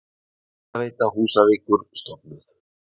Hitaveita Húsavíkur stofnuð.